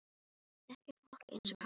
Ég þekki fólk eins og hana.